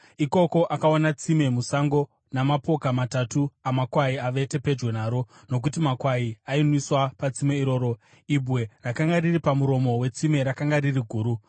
Ikoko akaona tsime musango, namapoka matatu amakwai avete pedyo naro nokuti makwai ainwiswa patsime iroro. Ibwe rakanga riri pamuromo wetsime rakanga riri guru.